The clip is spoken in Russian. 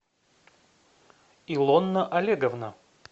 илона олеговна